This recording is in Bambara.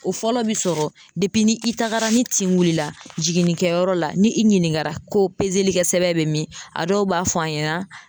O fɔlɔ biɛ sɔrɔ ni i tagara ni tin wuli la jiginnikɛyɔrɔ la ni i ɲininkara ko kɛ sɛbɛn bɛ min a dɔw b'a fɔ an ɲɛna.